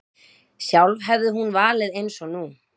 Sjálf hefði hún valið eins nú.